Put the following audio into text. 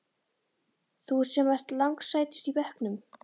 Þú sem ert lang sætust í bekknum.